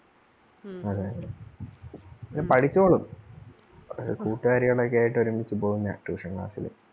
അതെ അതെ പഠിച്ചോളും കൂട്ടുകാരികൾ ഒക്കെ ആയിട്ട് ഒരുമിച്ച് പോകുന്നെയാ tuition class ല്